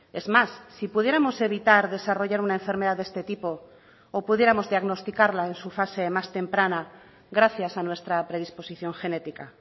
es más si pudiéramos evitar desarrollar una enfermedad de este tipo o pudiéramos diagnosticarla en su fase más temprana gracias a nuestra predisposición genética